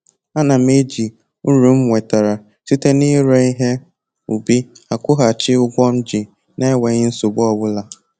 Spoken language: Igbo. A na m eji m uru m nwetara site na-ire ihe ubi akwụghachi ụgwọ m ji na-enweghi nsogbu ọbụla